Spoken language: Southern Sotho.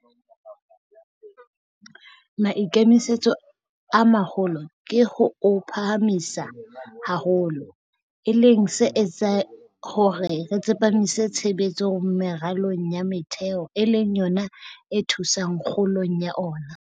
Maikemisetso a maholo ke ho o phahamisa haholo, e leng se etsang hore re tsepamise tshebetso meralong ya metheo e leng yona e thusang kgolong ya ona.